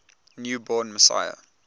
new born messiah